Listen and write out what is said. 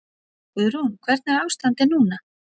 Guðrún: Hvernig er ástandið núna?